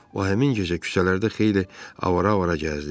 O həmin gecə küçələrdə xeyli avara-avara gəzdi.